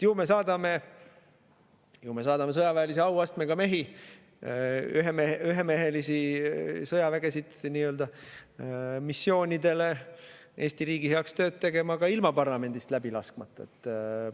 Ju me saadame sõjaväelise auastmega mehi, nii-öelda ühemehelisi sõjavägesid missioonidele Eesti riigi heaks tööd tegema ka ilma parlamendist läbi laskmata.